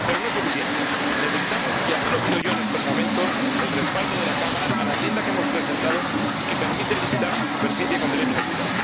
Pero no es suficiente necesitamos —y así lo pido yo en estos momentos— el respaldo de la Cámara a la enmienda que hemos presentado y que permite limitar la superficie con derecho a ayuda.